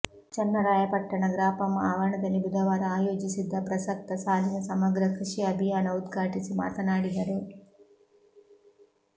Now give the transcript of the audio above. ಚನ್ನರಾಯಪಟ್ಟಣ ಗ್ರಾಪಂ ಆವರಣದಲ್ಲಿ ಬುಧವಾರ ಆಯೋಜಿಸಿದ್ದ ಪ್ರಸಕ್ತ ಸಾಲಿನ ಸಮಗ್ರ ಕೃಷಿ ಅಭಿಯಾನ ಉದ್ಘಾಟಿಸಿ ಮಾತನಾಡಿದರು